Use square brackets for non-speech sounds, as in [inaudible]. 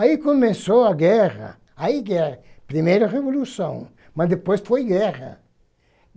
Aí começou a guerra, ai [unintelligible] primeira Revolução, mas depois foi guerra.